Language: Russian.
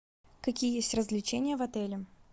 какие есть развлечения в отеле